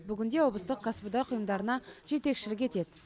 бүгінде облыстық кәсіподақ ұйымдарына жетекшілік етеді